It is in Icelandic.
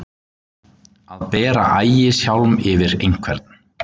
Að bera ægishjálm yfir einhvern